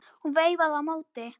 Hún veifaði á móti.